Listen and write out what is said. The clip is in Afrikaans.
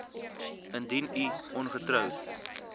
indien u ongetroud